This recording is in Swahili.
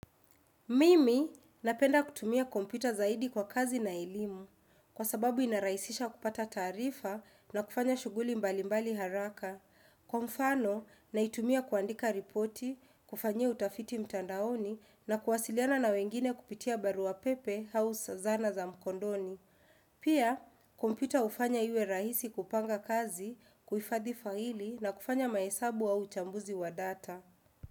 Mimi napenda kutumia kompyuta zaidi kwa kazi na elimu kwa sababu inaraisisha kupata taarifa na kufanya shughuli mbali mbali haraka. Kwa mfano, naitumia kuandika ripoti, kufanyia utafiti mtandaoni na kuwasiliana na wengine kupitia barua pepe au zanaa za mkondoni Pia, kompyuta ufanya iwe rahisi kupanga kazi, kuifadhi faili na kufanya maesabu au chambuzi wa data.